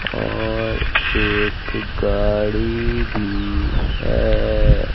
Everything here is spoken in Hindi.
और एक गाड़ी भी है।